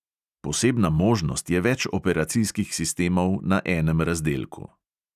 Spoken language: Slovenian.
Posebna možnost je več operacijskih sistemov na enem razdelku.